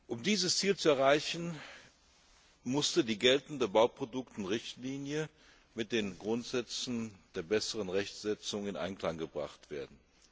Um dieses Ziel zu erreichen, musste die geltende Richtlinie über Bauprodukte mit den Grundsätzen der besseren Rechtsetzung in Einklang gebracht werden.